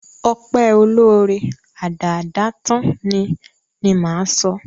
Ọpẹ́ olóóre, adáádátán ni, ni máa sọ.